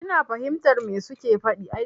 Ina fahimtar me su ke faɗi.